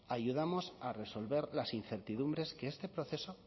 ayudamos a resolver las incertidumbres que este proceso